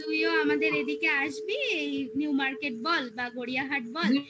আর তুইও আমাদের এদিকে আসবি এই new market বল বা গড়িয়াহাট বল